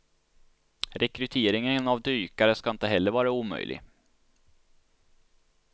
Rekryteringen av dykare ska heller inte vara omöjlig.